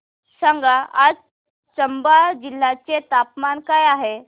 सांगा आज चंबा जिल्ह्याचे तापमान काय आहे